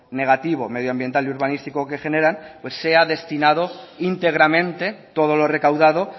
negativo medioambiental y urbanístico que generan sea destinado íntegramente todo lo recaudado